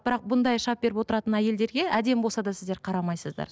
бірақ бұндай шап беріп отыратын әйелдерге әдемі болса да сіздер қарамайсыздар